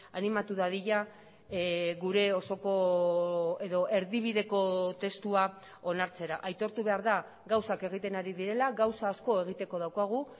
animatu dadila gure osoko edo erdibideko testua onartzera aitortu behar da gauzak egiten ari direla gauza asko egiteko daukagu